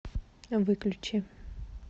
выключи